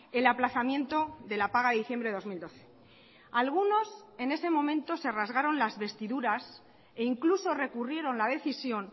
el aplazamiento de la paga de diciembre de dos mil doce algunos en ese momento se rasgaron las vestiduras e incluso recurrieron la decisión